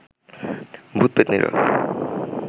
ভূত পেত্নীরা